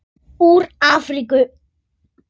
Úr Afríku!